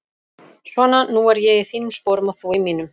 Svona, nú er ég í þínum sporum og þú í mínum.